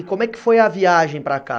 E como é que foi a viagem para cá?